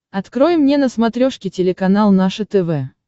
открой мне на смотрешке телеканал наше тв